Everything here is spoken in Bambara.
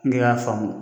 Ne y'a faamu